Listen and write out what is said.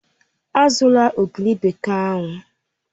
Azụla ogiri bekee ahụ!